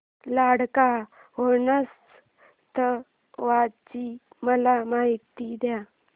लडाख महोत्सवाची मला माहिती दे